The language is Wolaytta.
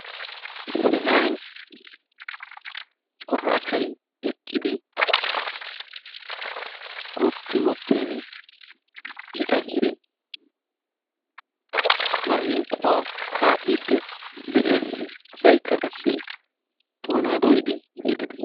Issi na'ay cora asay eqqidi qootti wottiini I qassi maazinqquwa kaa'iiddi de'ees. Asaykka qassi doonaa dooyidi yexxiiddi de'ees.